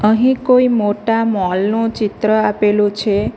અહીં કોઈ મોટા મોલ નું ચિત્ર આપેલું છે.